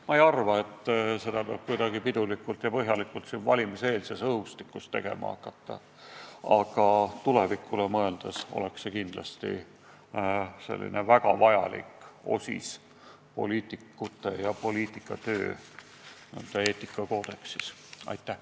Ma ei arva, et seda peab kuidagi pidulikult siin valimiseelses õhustikus tegema hakkama, aga tulevikule mõeldes oleks see kindlasti väga vajalik punkt poliitikute ja poliitikatöö eetikakoodeksis.